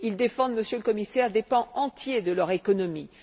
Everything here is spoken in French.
Ils défendent, Monsieur le Commissaire, des pans entiers de leur économie.